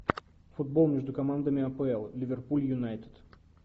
футбол между командами апл ливерпуль юнайтед